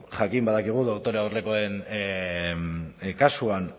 jakin badakigu doktore aurrekoen kasuan